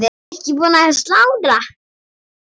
Var ekki búið að slátra?